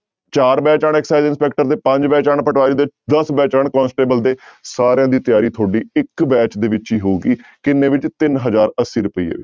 ਚਾਰ batch ਆਉਣ excise inspector ਦੇ ਪੰਜ batch ਆਉਣ ਪਟਵਾਰੀ ਦੇ, ਦਸ batch ਆਉਣ ਕੋਂਸੇਟਬਲ ਦੇ ਸਾਰਿਆਂ ਦੀ ਤਿਆਰੀ ਤੁਹਾਡੀ ਇੱਕ batch ਦੇ ਵਿੱਚ ਹੀ ਹੋਊਗੀ ਕਿੰਨੇ ਵਿੱਚ ਤਿੰਨ ਹਜ਼ਾਰ ਅੱਸੀ ਰੁਪਈਏ।